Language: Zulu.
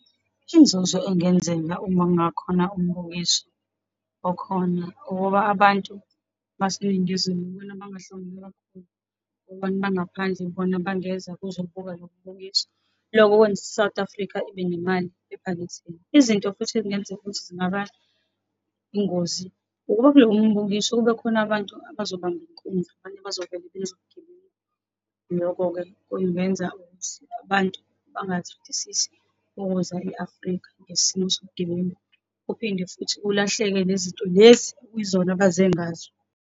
Inzuzo engenzeka uma kungakhona umbukiso okhona, ukuba abantu baseNingizimu yibona abangahlomula kakhulu. Abantu bangaphandle yibona abangeza ukuzobuka lo mbukiso, lokho kwenza i-South Africa ibe nemali ephaketheni. Izinto futhi ezingenzeka ukuthi zingaba ingozi, ukuba kulowo mbukiso kube khona abantu abazobamba inkunzi, abanye bazovela bezigebengu. Lokho-ke kungenza ukuthi abantu bangathandisisi ukuza e-Afrika ngesimo sobugebengu, kuphinde futhi kulahleke le zinto lezi okuyizona abaze ngazo.